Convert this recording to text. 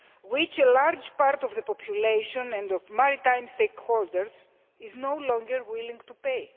which a large part of the population and of maritime stakeholders is no longer willing to pay.